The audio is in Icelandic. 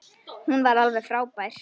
Hún var alveg frábær.